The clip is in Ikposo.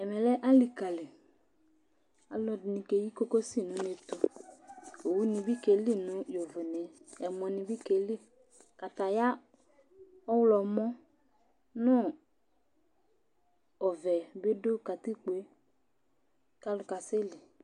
Ɛmɛ̃ lɛ alikali, alu ɛdini ka eyi kokosi nu unétũ, owu ni bi ka eli nu úné ,ɛmɔ́ ni bi k'eli, kataya ɔwlɔmɔ nu ɔvɛ bi du katikpo k'alu ka sɛli